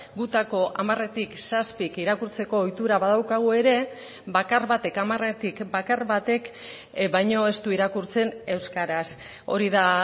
gutako hamaretik zazpik irakurtzeko ohitura badaukagu ere bakar batek hamaretik bakar batek baino ez du irakurtzen euskaraz hori da